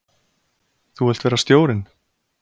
Þú vilt vera stjórinn?